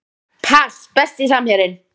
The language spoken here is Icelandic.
pass Besti samherjinn?